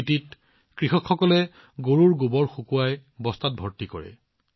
স্পিতিত কৃষকসকলে তেওঁলোকৰ গৰুবোৰৰ গোবৰ শুকুৱাই বস্তাত ভৰাই দিয়ে